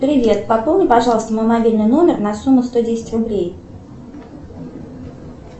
привет пополни пожалуйста мой мобильный номер на сумму сто десять рублей